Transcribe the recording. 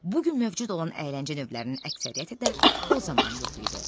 Bugün mövcud olan əyləncə növlərinin əksəriyyəti də o zaman yox idi.